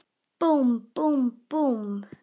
Búmm, búmm, búmm.